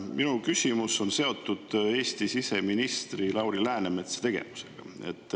Minu küsimus on seotud Eesti siseministri Lauri Läänemetsa tegevusega.